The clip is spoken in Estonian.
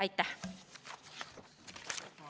Aitäh!